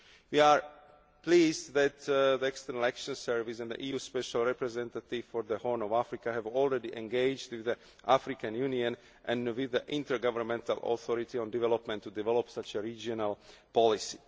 We are pleased that the External Action Service and the EU Special Representative for the Horn of Africa have already engaged through the African Union and with the intergovernmental authority on development in order to develop such a regional policy.